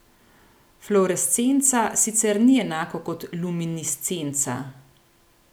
Fluorescenca sicer ni enako kot luminiscenca.